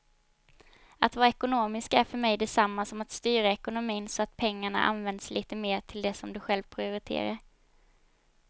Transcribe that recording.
Att vara ekonomisk är för mig detsamma som att styra ekonomin så att pengarna används lite mer till det som du själv prioriterar.